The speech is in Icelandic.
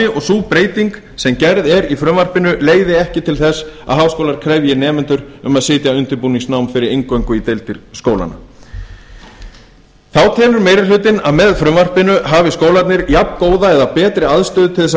og sú breyting að frumvarpinu leiði ekki til þess að háskólar krefji nemendur um að sitja undirbúningsnám fyrir inngöngu í deildir skólanna þá telur meiri hlutinn að með frumvarpinu hafi skólarnir jafngóða eða betri aðstöðu til að